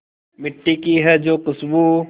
मिट्टी की है जो खुशबू